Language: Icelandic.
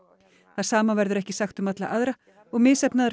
það sama verður ekki sagt um alla aðra og misheppnaðar